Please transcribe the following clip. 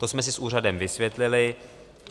To jsme si s úřadem vysvětlili.